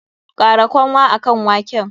Kara kanwa akan waken!